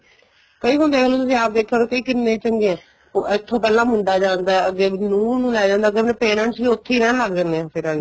ਕਈ ਹੁਣ ਦੇਖਲੋ ਆਪ ਦੇਖਿਆ ਹੋਣਾ ਕਈ ਕਿੰਨੇ ਚੰਗੇ ਏ ਇੱਥੋ ਪਹਿਲਾਂ ਮੁੰਡਾ ਜਾਂਦਾ ਅੱਗੇ ਨੂੰਹ ਨੂੰ ਲੈ ਜਾਂਦਾ ਏ ਅੱਗੇ ਫ਼ੇਰ parents ਵੀ ਉੱਥੇ ਰਹਿਣ ਲੱਗ ਜਾਂਦੇ ਹੈ ਫੇਰ ਅੱਗਲੇ